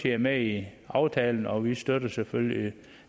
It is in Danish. er med i aftalen og vi støtter selvfølgelig